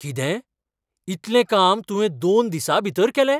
कितें? इतलें काम तुवें दोन दिसांभीतर केलें?